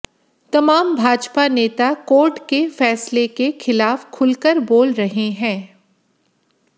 तमाम भाजपा नेता कोर्ट के फैसले के खिलाफ खुलकर बोल रहे हैं